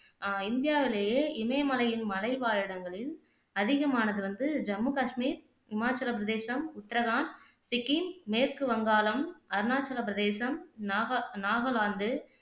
அஹ் இந்தியாவிலேயே இமயமலையின் மலை வாழ் இடங்களில் அதிகமானது வந்து ஜம்மு காஷ்மீர், ஹிமாச்சல பிரதேசம், உத்ரகாண்ட், சிக்கிம், மேற்கு வங்காளம், அருணாச்சல பிரதேசம், நாக நாகலாந்து